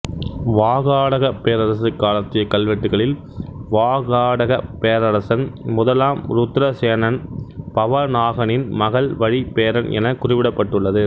வாகாடகப் பேரரசு காலத்திய கல்வெட்டுகளில் வாகாடகப் பேரரசன் முதலாம் ருத்திரசேனன் பவ நாகனின் மகள் வழி பேரன் எனக் குறிப்பிட்டுள்ளது